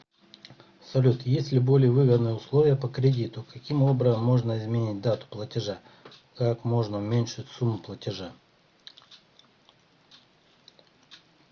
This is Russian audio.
салют есть ли более выгодные условия по кредиту каким образом можно изменить дату платежа как можно уменьшить сумму платежа